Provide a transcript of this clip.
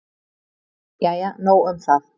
Jæja nóg um það.